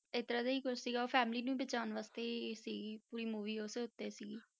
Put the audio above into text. ਏਦਾਂ ਦਾ ਕੁਛ ਸੀਗਾ family ਨੂੰ ਬਚਾਉਣ ਵਾਸਤੇ ਹੀ ਸੀਗੀ ਪੂਰੀ movie ਉਸੇ ਉੱਤੇ ਸੀਗੀ।